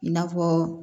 I n'a fɔ